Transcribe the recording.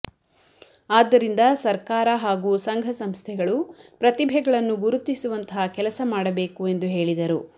ಅದ್ದರಿಂದ ಸರ್ಕಾರ ಹಾಗೂ ಸಂಘ ಸಂಸ್ಥೆಗಳು ಪ್ರತಿಭೆಗಳನ್ನು ಗುರುತಿಸುವಂತಹ ಕೆಲಸಮಾಡಬೇಕು ಎಂದು ಹೇಳಿದರು